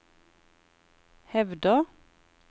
hevder